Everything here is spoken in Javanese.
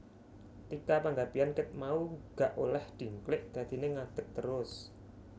Tika Panggabean ket mau gak oleh dingklik dadine ngadeg terus